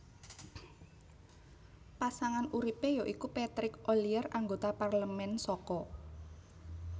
Pasangan uripe ya iku Patrick Ollier anggota parlemen saka